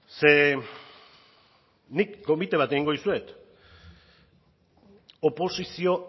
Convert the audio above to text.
ze nik konbite bat egingo dizuet oposizio